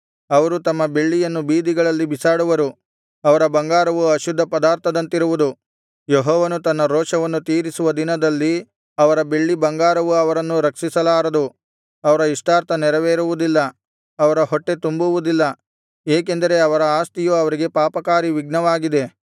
ಅವರು ತಮ್ಮ ಬೆಳ್ಳಿಯನ್ನು ಬೀದಿಗಳಲ್ಲಿ ಬಿಸಾಡುವರು ಅವರ ಬಂಗಾರವು ಅಶುದ್ಧ ಪದಾರ್ಥದಂತಿರುವುದು ಯೆಹೋವನು ತನ್ನ ರೋಷವನ್ನು ತೀರಿಸುವ ದಿನದಲ್ಲಿ ಅವರ ಬೆಳ್ಳಿಬಂಗಾರವು ಅವರನ್ನು ರಕ್ಷಿಸಲಾರದು ಅವರ ಇಷ್ಟಾರ್ಥ ನೆರವೇರುವುದಿಲ್ಲ ಅವರ ಹೊಟ್ಟೆ ತುಂಬುವುದಿಲ್ಲ ಏಕೆಂದರೆ ಅವರ ಆಸ್ತಿಯು ಅವರಿಗೆ ಪಾಪಕಾರಿ ವಿಘ್ನವಾಗಿದೆ